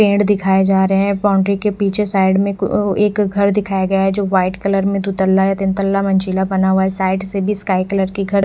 पेड़ दिखाए जा रहे हैं बॉउन्ड्री के पीछे साइड में एक घर दिखाया गया है जो व्हाइट कलर में दु तल्ला या तीन तल्ला मंजिला बना हुआ है साइड से भी स्काइ कलर की घर--